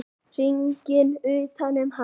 Hringurinn utan um hana.